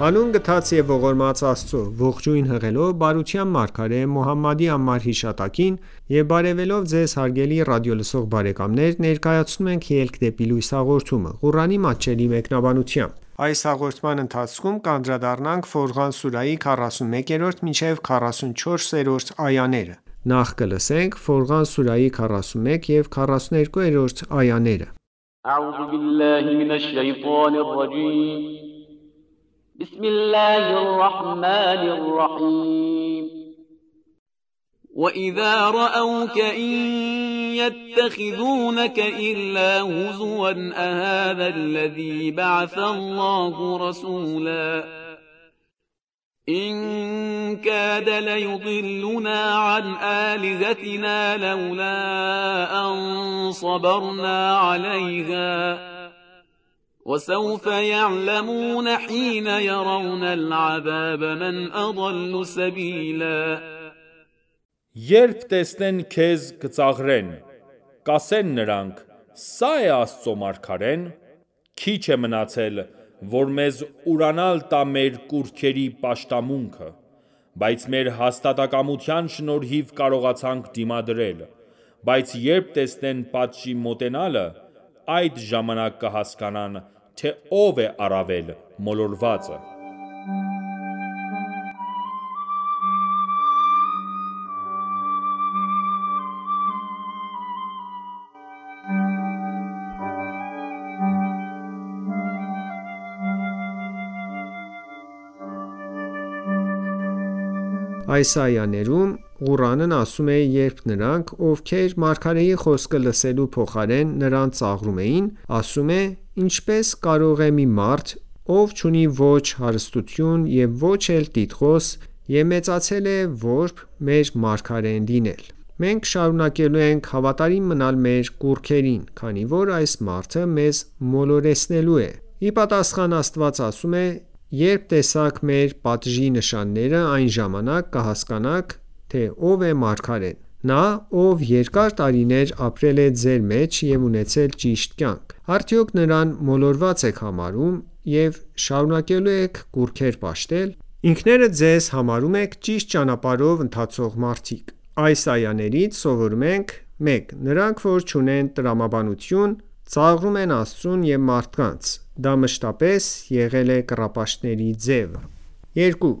Հանուն գթած և ողորմած Աստծո:Ողջույն հղելով բարության մարգարե Մոհամմադի անմար հիշատակին եւ բարեւելով Ձեզ հարգելի ռադիոլսող բարեկամներ ներկայացնում ենք «Ելք դեպի լույս» հաղորդումը, Ղուրանի մատչելի մեկնաբանությամբ: Ֆորղան սուրահի 41 և 42-րդ այաներ وَإِذَا رَأَوْکَ إِن یَتَّخِذُونَکَ إِلَّا هُزُوًا أَهَذَا الَّذِی بَعَثَ اللَّهُ رَسُولًا Երբ տեսնեն քեզ, կծաղրեն: Կասեն նրանք.« Սա է՞ Աստծո մարգարեն»: Քիչ է մնացել, որ մեզ ուրանալ տա մեր կուռքերի պաշտամունքը: Բայց մեր հաստատակամության շնորհիվ կարողացանք դիմադրել: Բայց երբ տեսնեն պատժի մոտենալը, այդ ժամանակ կհասկանան, թե ո՞վ է առավել մոլորվածը: Այս այաներում Ղուրանն ասում է, որ նրանք, ովքեր մարգարեի խոսքը լսելու փոխարեն նրան ծաղրում են, ասելով. «Ինչպե՞ս կարող է մի մարդ, ով չունի ոչ հարստություն և ոչ էլ տիտղոս և մեծացել է որբ, մեր մարգարեն լինել: Մենք շարունակելու ենք հավատարիմ մնալ մեր կուռքերին, քանի որ այս մարդը մեզ մոլորեցնելու է»: Ի տապաստան, Աստված ասում է. «Երբ տեսաք մեր պատժի նշանները, այն ժամանակ կհասկանաք, թե ով է մարգարեն: Նա, ով երկար տարիներ ապրել է ձեր մեջ և ունեցել ճիշտ կյանք: Արդյոք նրան մոլորված ե՞ք համարում, և շարունակելու ե՞ք կուռքեր պաշտել: Ինքներդ ձեզ համարում ե՞ք ճիշտ ճանապարհով ընթացող մարդիկ»: Այս այաներից սովորում ենք. 1. Նրանք, որ չունեն տրամաբանություն, ծաղրում են Աստծուն և մարդկանց: Դա մշտապես եղել է կռապաշտների ձևը: 2.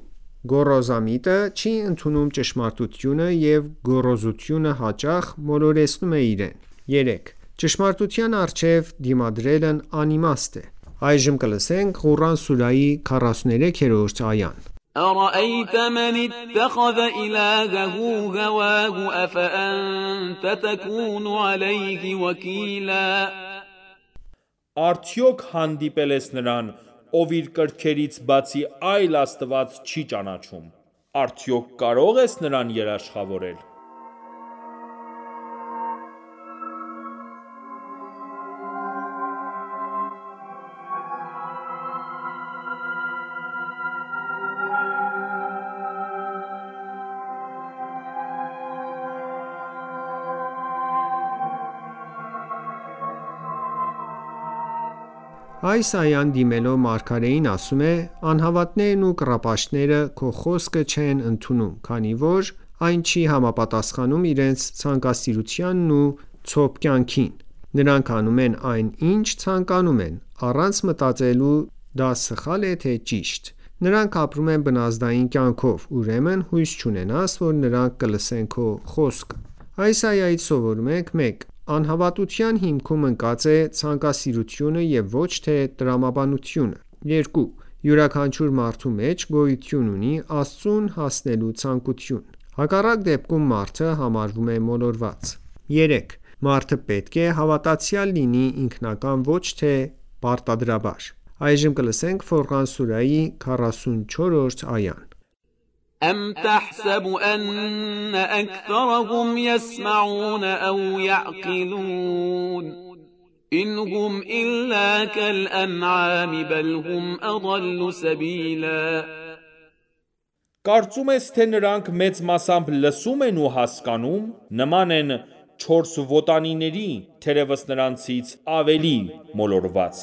Գոռոզամիտը չի ընդունում ճշմարտությունը և գոռոզությունը հաճախ մոլորեցնում է իրեն: 3. Ճշմարտության առջև դիմադրելն անիմաստ է: Ֆորղան սուրահի 43-րդ այա أَرَأَیْتَ مَنِ اتَّخَذَ إِلَهَهُ هَوَاهُ أَفَأَنتَ تَکُونُ عَلَیْهِ وَکِیلًا Արդյոք հանդիպե՞լ ես նրան, ով իր կրքերից բացի այլ Աստված չի ճանաչում: Արդյոք կարո՞ղ ես նրան երաշխավորել: Այս այան, դիմելով մարգարեին, ասում է. «Անհավատներն ու կռապաշտները քո խոսքը չեն ընդունում, քանի որ այն չի համապատասխանում իրենց ցանկասիրությանն ու ցոփ կյանքին: նրանք անում են այն, ինչ ցանկանում են, առանց մտածելու՝ դա սխալ է թե՞ ճիշտ: Նրանք ապրում են բնազդային կյանքով: Ուրեմն հույս չունենաս, որ նրանք կլսեն քո խոսքը: Այս այայից սովորում ենք. 1. Անհավատության հիմքում ընկած է ցանկասիրությունը և ոչ թե տրամաբանությունը: 2. Յուրաքանչյուր մարդու մեջ գոյություն ունի Աստծուն հասնելու ցանկությունը: Հակառակ դեպքում, մարդը համարվում է մոլորված: 3. Մարդը պետք է հավատացյալ լինի ինքնակամ ոչ թե պարտադրաբար: Ֆորղան սուրահի 44-րդ այա Կարծո՞ւմ ես թե նրանք մեծ մասամբ լսում են ու հասկանո՞ւմ: Նման են չորքոտանիների՝թերևս նրանցից ավելի մորոված: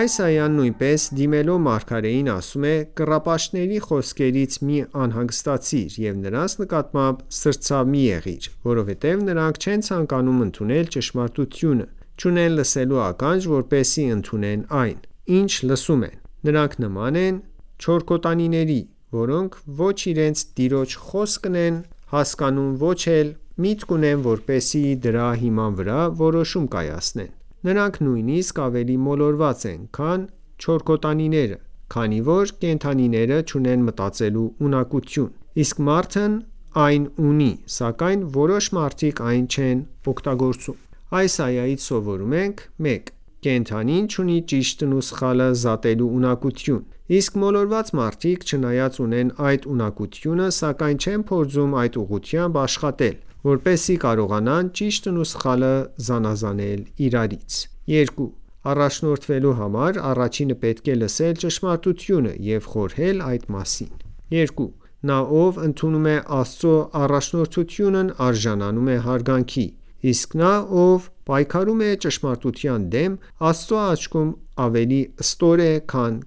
Այս այան, նույնպես, դիմելով մարգարեին, ասում է. «Կռապաշտների խոսքերից մի անհանգստացիր և նրանց նկատմամբ սրտացավ մի եղիր, որովհետև նրանք չեն ցանկանում ընդունել ճշմարտությունը, չունեն լսելու ականջ, որպեսզի ընդունեն այն, ինչ լսում են: Նրանք նման են չորքոտանիների, որոնք ոչ իրենց տիրոջ խոսքն են հասկանում և ոչ էլ միտք ունեն, որպեսզի դրա հիման վրա որոշում կայացնեն: Նրանք նույնիսկ ավելի մոլորված են, քան չորքոտանիները, քանի որ կենդանիները չունեն մտածելու ունակություն, իսկ մարդն այն ունի, սակայն որոշ մարդիկ այն չեն օգտագործում: Այս այայից սովորում ենք. 1. Կենդանին չունի ճիշտն ու սխալը զատելու ունակություն: Իսկ մոլորված մարդիկ, չնայած ունեն այդ ունակությունը, սակայն չեն փորձում այդ ուղղությամբ աշխատել, որպեսզի կարողանան ճիշտն ու սխալը զանազանել իրարից: 2. Առաջնորդվելու համար, առաջինը պետք է լսել ճշմարտությունը և խորհել այդ մասին: 3. Նա, ով ընդունում է Աստծո առաջնորդությունն արժանանում է հարգանքի: Իսկ նա, ով պայքարում է ճշմարտության դեմ, Աստծո աչքում ավելի ստոր է, քան